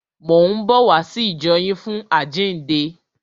Mò ń bọ̀ wá sí ìjọ yín fún àjíǹde.